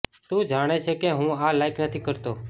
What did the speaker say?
તું જાણે છે કે હું આ લાઇક નથી કરતો